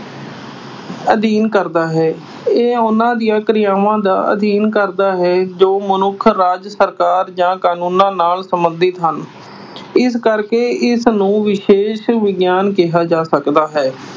ਅਧਿਐਨ ਕਰਦਾ ਹੈ। ਇਹ ਉਨ੍ਹਾਂ ਦੀਆਂ ਕਿਰਿਆਵਾਂ ਦਾ ਅਧਿਐਨ ਕਰਦਾ ਹੈ ਜੋ ਮਨੁੱਖ, ਰਾਜ ਸਰਕਾਰ ਜਾਂ ਕਾਨੂੰਨਾਂ ਨਾਲ ਸਬੰਧਤ ਹਨ। ਇਸ ਕਰਕੇ ਇਸ ਨੂੰ ਵਿਸ਼ੇਸ਼ ਵਿਗਿਆਨ ਕਿਹਾ ਜਾ ਸਕਦਾ ਹੈ।